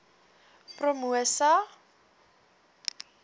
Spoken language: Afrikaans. promosa